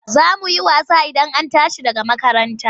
Za mu yi wasa Idan an tashi daga makaranta.